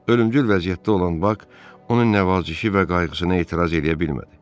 Ölümdül vəziyyətdə olan Bak onun nəvazişi və qayğısına etiraz eləyə bilmədi.